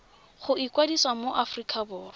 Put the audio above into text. go ikwadisa mo aforika borwa